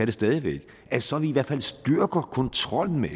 det stadig væk at så vi i hvert fald styrker kontrollen med